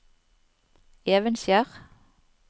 Evenskjer